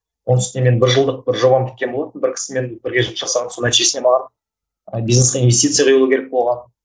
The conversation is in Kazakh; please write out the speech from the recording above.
оның үстіне мен бір жылдық бір жобам біткен болатын бір кісімен бірге жұмыс жасаған соның нәтижесінде маған ы бизнеске инвестиция құйылу керек болған